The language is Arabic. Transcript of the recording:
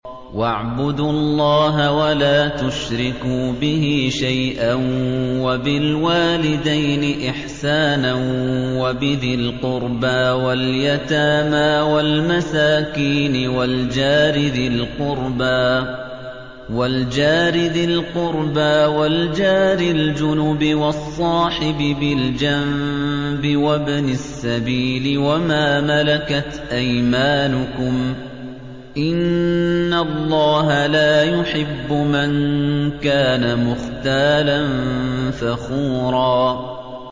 ۞ وَاعْبُدُوا اللَّهَ وَلَا تُشْرِكُوا بِهِ شَيْئًا ۖ وَبِالْوَالِدَيْنِ إِحْسَانًا وَبِذِي الْقُرْبَىٰ وَالْيَتَامَىٰ وَالْمَسَاكِينِ وَالْجَارِ ذِي الْقُرْبَىٰ وَالْجَارِ الْجُنُبِ وَالصَّاحِبِ بِالْجَنبِ وَابْنِ السَّبِيلِ وَمَا مَلَكَتْ أَيْمَانُكُمْ ۗ إِنَّ اللَّهَ لَا يُحِبُّ مَن كَانَ مُخْتَالًا فَخُورًا